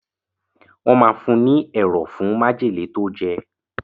Wọ́n máa fún un ní ẹ̀rọ̀ fún májèlé tó jẹ̀.